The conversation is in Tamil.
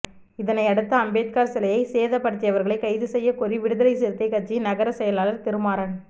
இதனையடுத்து அம்பேத்கர் சிலையை சேதப்படுத்தியவர்களை கைது செய்யக் கோரி விடுதலை சிறுத்தை கட்சியின் நகர செயலர் திருமாறன்